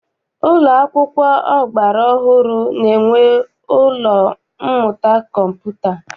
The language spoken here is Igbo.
Ụlọ akwụkwọ ọgbara ọhụrụ na-enwe ụlọ mmụta kọmputa.